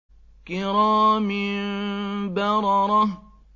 كِرَامٍ بَرَرَةٍ